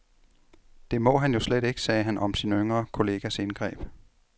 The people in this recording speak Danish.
Det må han jo slet ikke, sagde han om sin yngre kollegas indgreb.